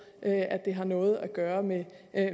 at det har noget at gøre med